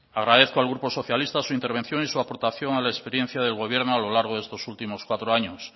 agradezco al grupo socialista su intervención y su aportación a la experiencia del gobierno a lo largo de estos últimos cuatro años